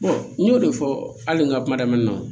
n y'o de fɔ hali n ka kuma daminɛ na